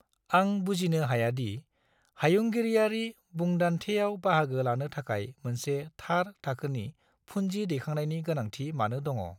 आं बुजिनो हाया दि हायुंगिरियारि बुंदान्थेयाव बाहागो लानो थाखाय मोनसे थार थाखोनि फुन्जि दैखांनायनि गोनांथि मानो दङ।